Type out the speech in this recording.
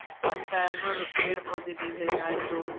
अच्छा है पर पेड़-पौधे दिखे जाये तो।